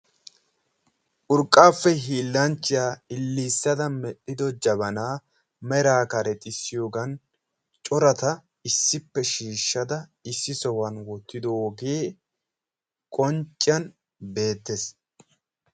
urqqappe hiilanchchiya lilissada medhdhido jabana meraa karexxissiyoogan corata issippe shiishshada issi sohuwan wottidooge qoncciyaan beettees